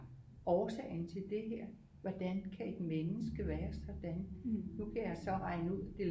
Årsagen til det her hvordan kan et menneske være sådan nu kan jeg så regne ud det